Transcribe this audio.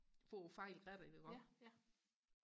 for og holde fat i rebbet iggå